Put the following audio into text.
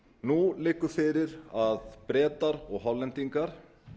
nú liggur fyrir að bretar og hollendingar